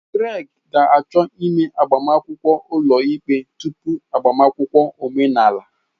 Greg ga-achọ ime agbamakwụkwọ ulo ikpe tupu agbamakwụkwọ omenala.